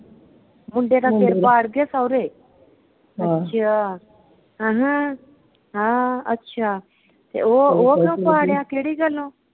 ਮੁੰਡੇ ਦਾ ਸਿਰ ਪਾੜਗੇ ਸਹੁਰੇ। ਅੱਛਾ, ਆਹਾ ਹਾ ਅੱਛਾ, ਤੇ ਓਹ ਉਹ ਕਿਉਂ ਪਾੜਿਆ ਕਿਹੜੀ ਗੱਲੋਂ?